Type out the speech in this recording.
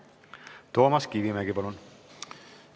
Toomas Kivimägi, palun!